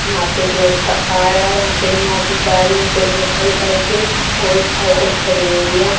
यहां पे एक लड़का आ रहा है यहां पे एक मा जी जा रही हैं पर बहुत सारी बाइके और साइकिल खड़ी हुई है।